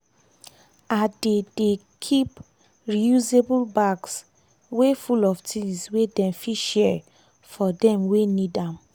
i dey dey keep reusable bags wey full of things wey dem fit share for dem wey need am.